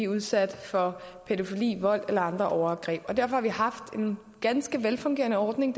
udsat for pædofili vold eller andre overgreb og derfor har vi haft en ganske velfungerende ordning